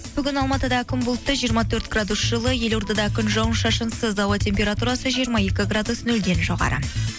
бүгін алматыда күн бұлтты жиырма төрт градус жылы елордада күн жауын шашынсыз ауа температурасы жиырма екі градус нөлден жоғары